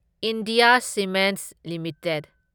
India cements limited